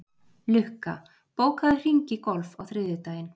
Lukka, bókaðu hring í golf á þriðjudaginn.